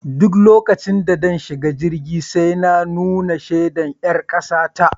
Duk lokacin da zan shiga jirgi sai na nuna shaidar ƴar kasa ta